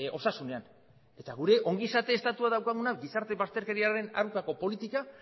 osasunean eta gure ongizate estatua daukaguna gizarte bazterkeriaren aurkako politika